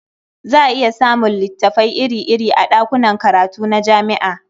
Za a iya samun littafai iri-iri a ɗakunan karatu na jami'a.